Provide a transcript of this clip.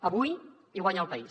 avui hi guanya el país